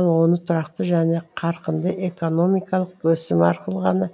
ал оны тұрақты және қарқынды экономикалық өсім арқылы ғана